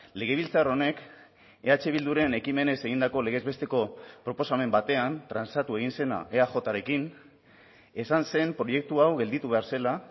legebiltzar honek eh bilduren ekimenez egindako legez besteko proposamen batean transatu egin zena eajrekin esan zen proiektu hau gelditu behar zela